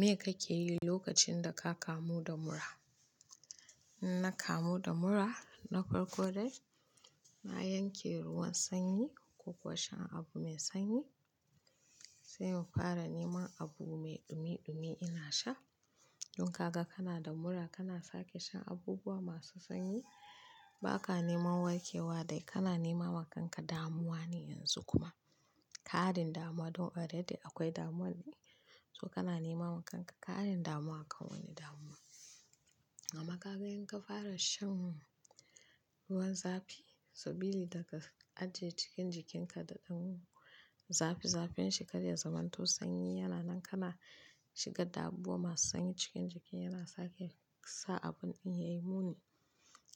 Me kake yi lokacin da ka kamu da mura? In na kamu da mura, na farko dai, na yanke ruwan sanyi ko kuwa shan abu mai sanyi. Sai in fara neman abu mai dumi dumi ina sha. Don kagan kana da mura kana sake shan abubuwa masu sanyi. Ba ka nema warke wa dai kana nema wa kanka damuwa ne yanzu kuma. Karin damuwa don a da dai akwai damuwa ne. To kana nema wa kanka ka karin damuwa aka wani damuwa. Amma kaga in ka fara shan ruwan zafi. Sabili daga, ajiye cikin jikinka da ɗan zafi zafin shi ka dai zamanto sanyi yana nan kana shiga da abubuwa masu sanyi cikin jiki, yana sake sa abun ɗin ya yi muni.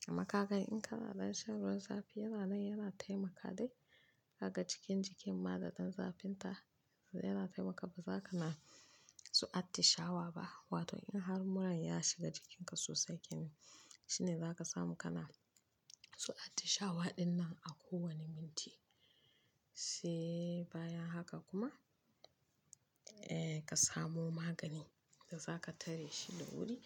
Amma kaga in kana dai shan ruwan zafi yana nan yana taimaka dai. Haka cikin jikin ma da ɗan zafin ta yana taimaka. Ba za ka ma su atishawa ba. Wato in har muran ya shiga jikinka sosai kenan. Shine za ka samu kana su atishawa ɗin nan a kowane minti. Sai bayan haka kuma, eh ka samu magani da za ka tare shi da wuri.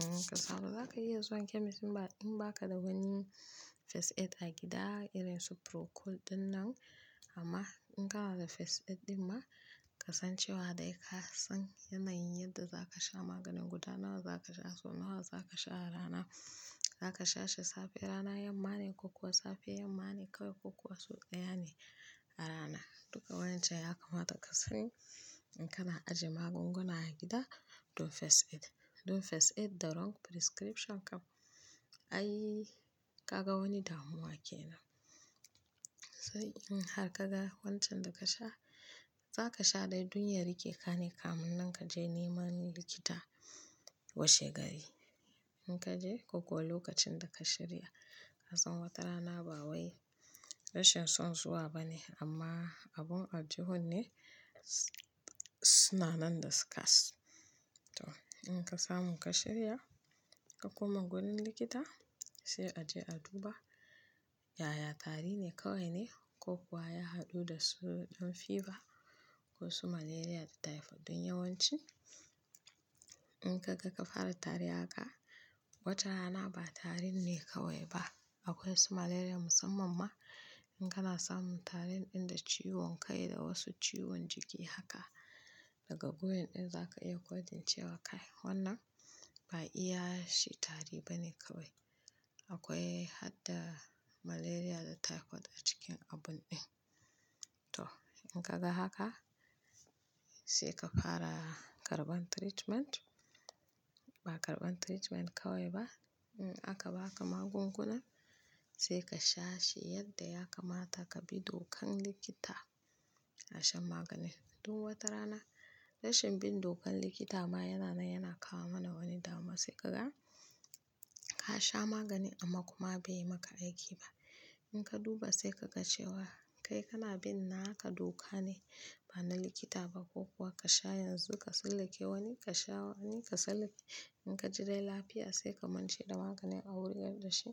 Mm ka samu. Za ka iya zuwa kemis ba in ba ka da wani first aid a gida irin su procold ɗin nan. Amma in ka na da first aid ɗin ma, ka san cewa dai ka san yanayin yadda za ka sha maganin, guda nawa za ka sha, sau nawa za ka sha a rana. Za ka sha shi safe rana yamma ni ko kuwa safe yammani kawai ko kuwa sau ɗaya ne a rana. Duka wayancan ya kamata ka sani. In kana ajiye magunguna a gida don fes ed. Don first aid da wrong prescription kam. Ai kaga wani damuwa kenan. Sai in har ka ga wancan da ka sha, za ka sha dai duniyar yake kare kamun nan ka je neman likita washe gari. In ka je ko kuwa lokacin da ka shirya. Ka san wata rana ba wai rashin son zuwa bane amma abun aljuhu ne, suna nan da scarce. To in ka samu ka shirya, ka koma wurin likita. Sai a je a duba. Yaya tari ne kawai ne ko kuwa ya haɗu da su ɗan fever, ko su malaria da typhoid don yawanci. In ka ga ka fara tari haka, wata rana ba tarin ne kawai ba. Akwai su malaria musamman ma. In kana samun tarin ɗin da ciwon kai da wasu ciwon jiki haka. Daga goyon ɗin za ka iya kodin cewa kai wannan ba iya shi tari bane kawai. Akwai har da malaria da typhoid a cikin abun ɗin. To in ka ga haka, sai ka fara karɓan treatment. Ba karɓan treatment kawai ba. Mm aka ba ka magunguna. Sai ka sha shi yadda ya kamata ka bi dokan likita. Na shan maganin. Don wata rana. Rashin bin dokan likita ma yana nan yana kawo mana wani damuwa. Sai ka ga, ka sha magani amma kuma bai yi maka aiki ba. In ka duba sai ka ga cewa kai kana bin naka doka ne. Ba na likita ba ko kuwa ka sha yanzu ka sallake wani ka sha wani ka sallake. In ka ji dai lafiya sai ka mantche da maganin a wuri yanda shi.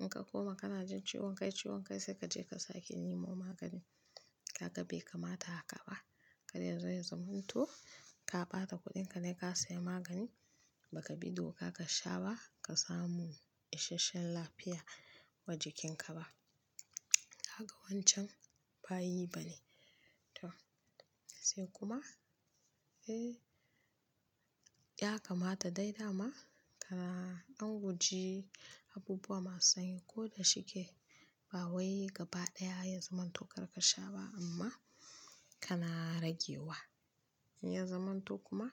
In ka koma kana jin ciwon kai ciwon kai sai kaje ka sake nemo magani. Haka bai kamata haka ba. Kada ya zai zamanto ka bata kuɗinka dai ka saya magani. Baka bi doka ka sha ba, ka samu isashen lafiya wa jikinka ba. Haka wancan ba yi bane. To sai kuma, eh ya kamata dai dama kana ɗan guje abubuwa masu sanyi ko da shike. Ba wai gaba ɗaya ya zamanto kar ka sha ba amma kana rage wa. In ya zamanto kuma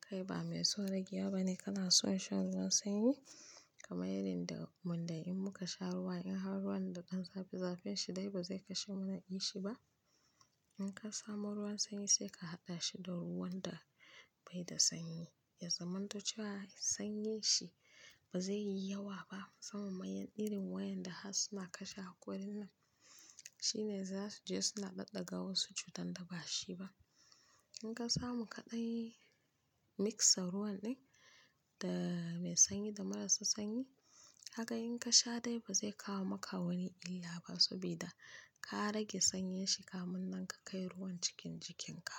kai ba mai son rage wa bane kana son shan ruwan sanyi. Kamai irin da wanda in muka sha ruwa in har ruwan da ɗan zafi zafin shi dai ba zai kashe mana ishi ba. In ka samu ruwan sanyi sai ka haɗa shi da ruwan da bai da sanyi. Ya zamanto cewa sanyi shi ba zai yi yawa ba. Sai mu yi irin wayan da har suna kashe hakorin nan. Shine za su je suna ɗaɗa ga wasu cutan da ba shi ba. In ka samu kaɗai mixa ruwan ɗin, da mai sanyi da marasu sanyi. Haka in ka sha dai ba zai kawo maka wani illa ba. Sabida ka rage sanyi shi kamun nan ka kai ruwan cikin jikinka.